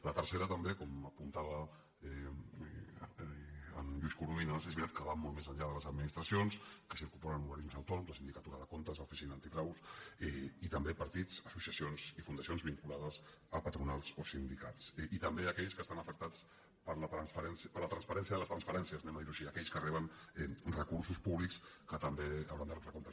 la tercera també com apuntava en lluís corominas és veritat que va molt més enllà de les administra cions que s’hi incorporen organismes autònoms la sindicatura de comptes l’oficina antifrau i també partits associacions i fundacions vinculades a patronals i sindicats i també aquells que estan afectats per la transparència de les transferències ho direm així aquells que reben recursos públics que també hauran de retre comptes